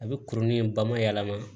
A bɛ kurunin in ba ma yɛlɛma